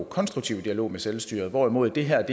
konstruktiv dialog med selvstyret hvorimod det her